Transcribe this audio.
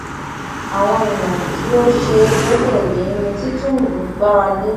àwọn èèyàn tí ò ṣeé gbẹkẹlé ni tìtúngbù gbára lé